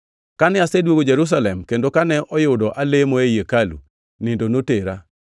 “Kane aseduogo Jerusalem kendo kane oyudo alemo ei hekalu, nindo notera